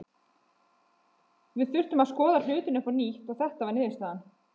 Við þurftum að skoða hlutina upp á nýtt og þetta var niðurstaðan.